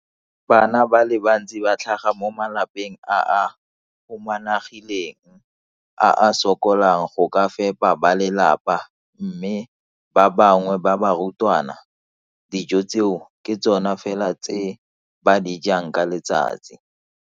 Bana ba le bantsi ba tlhaga mo malapeng a a humanegileng a a sokolang go ka fepa ba lelapa mme ba bangwe ba barutwana, dijo tseo ke tsona fela tse ba di jang ka letsatsi.